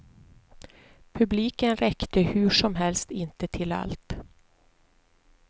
Publiken räckte hur som helst inte till allt.